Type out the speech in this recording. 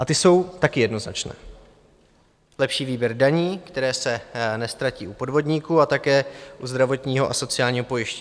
A ty jsou také jednoznačné: Lepší výběr daní, které se neztratí u podvodníků, a také u zdravotního a sociálního pojištění.